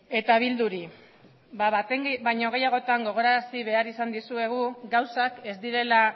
eta bilduri baten baino gehiagotan gogorarazi behar izan dizuegu gauzak ez direla